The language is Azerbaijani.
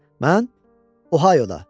Mən Ohioda.